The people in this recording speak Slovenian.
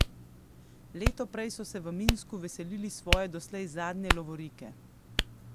Leto prej so se v Minsku veselili svoje doslej zadnje lovorike.